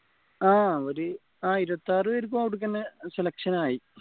ആഹ് ഒരു ആഹ് ഇരുവതിയാർ പെരിക്കു അവിടെ തന്നെ selection ആയി